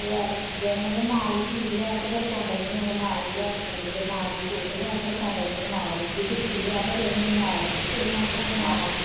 ਲਿਆ ਲਿਆ ਕੇ ਦੇਣੀਆਂ ਜੇ ਮਾੜੀ ਚੀਜ਼ ਲਿਆਇਆ ਤੇ ਫਿਰ ਕੋਮਲ ਨੂੰ ਵੀ ਉਹਨੇ ਨਾਲ ਹੀ ਲਿਆ ਕੇ ਦੇਣੀ ਜੇ ਨਾਲ ਹੀ ਸੂਟ ਲਿਆ ਫਿਰ ਕੋਮਲ ਨੂੰ ਵੀ ਨਾਲ ਹੀ ਜੇ ਜੁਤੀ ਲਿਆ ਫਿਰ ਉਹਨੂੰ ਵੀ ਨਾਲ ਹੀ, ਕੁੜੀਆਂ ਉਹਦੀਆਂ ਵੀ ਨਾਲ ਹੀ।